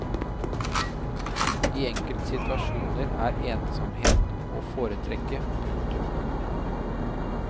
I enkelte situasjoner er ensomheten å foretrekke. punktum